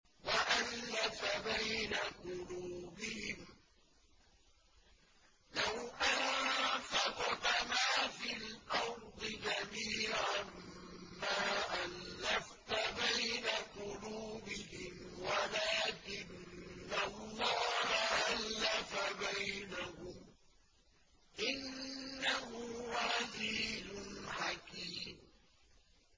وَأَلَّفَ بَيْنَ قُلُوبِهِمْ ۚ لَوْ أَنفَقْتَ مَا فِي الْأَرْضِ جَمِيعًا مَّا أَلَّفْتَ بَيْنَ قُلُوبِهِمْ وَلَٰكِنَّ اللَّهَ أَلَّفَ بَيْنَهُمْ ۚ إِنَّهُ عَزِيزٌ حَكِيمٌ